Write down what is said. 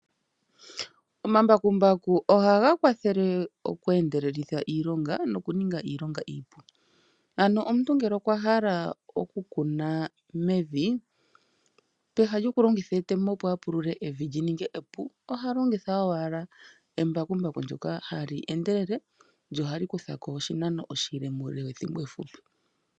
Omambakumbaku ohaga kwathele oku endeleleka iilonga nokuninga iilonga iipu, ano omuntu ngele okwa hala okukuna mevi, pehala lyokulongitha etemo opo evi lyi ninge epu oha longitha owala embakumbaku ndoka hali endelele, lyo ohali kuthako oshinano oshile muule wethimbo efupi.